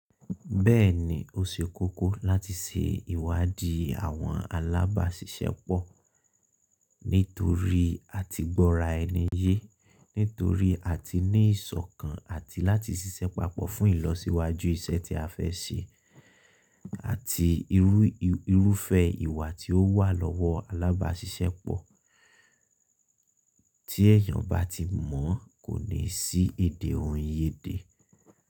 Bẹ́ẹ̀ni, o ṣe kókó láti ṣe ìwádìí àwọn alábàáṣiṣẹ́pọ̀ nítorí a ti gbọ́ra ẹni yé, nítorí a ti ní ìṣọ̀kan àti láti ṣiṣẹ́ papọ̀ fún ìlọsíwájú iṣẹ́ tí a fẹ́ ṣe àti irúfẹ́ ìwà tí ó wà lọ́wọ́ alábáṣiṣẹ́pọ̀ tí èèyàn bá ti mọ̀ kò ní sí èdè ohun yé dẹ̀